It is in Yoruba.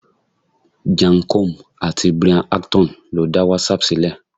Jan Koum àti Brian Acton lo da WhatsApp ṣílẹ̀.